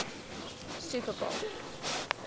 super bowl